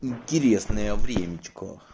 интересное времечко